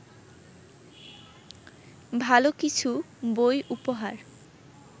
ভালো কিছু বই উপহার